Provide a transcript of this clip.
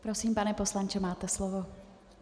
Prosím, pane poslanče, máte slovo.